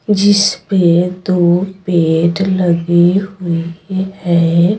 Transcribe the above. जिस पे दो पेट लगी हुई है।